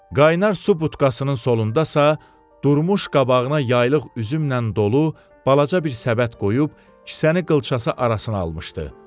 Qaynar su butkasının solundasa durmuş qabağına yaylıq üzümlə dolu balaca bir səbət qoyub kisəni qılçası arasına almışdı.